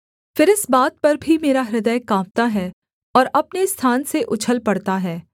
फिर इस बात पर भी मेरा हृदय काँपता है और अपने स्थान से उछल पड़ता है